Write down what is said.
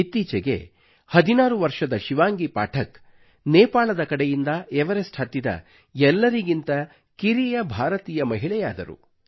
ಇತ್ತೀಚೆಗೆ 16 ವರ್ಷದ ಶಿವಾಂಗಿ ಪಾಠಕ್ ನೇಪಾಳದ ಕಡೆಯಿಂದ ಎವರೆಸ್ಟ್ ಹತ್ತಿದ ಎಲ್ಲರಿಗಿಂತ ಕಿರಿಯ ಭಾರತೀಯ ಮಹಿಳೆಯಾದರು